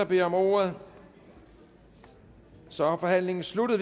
beder om ordet og så er forhandlingen sluttet